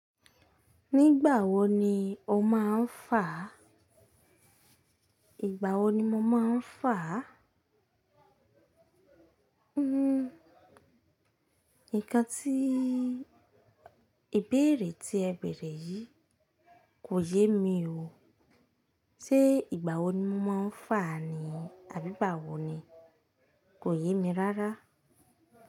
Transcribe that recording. Nígbà wo ni o máa ń fà? Ìgbà wo ni mo máa ń fà? Hmm. Nǹkan tí ìbéèrè tí ẹ bẹ̀rẹ̀ yìí kò yé mi o. Sé ìgbà wo ni mo máa ń fà ni àbí ìgbà wo ni? Kò yé mi rárá.